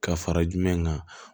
Ka fara jumɛn kan